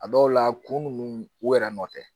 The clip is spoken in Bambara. A dɔw la kunun u yɛrɛ nɔ tɛ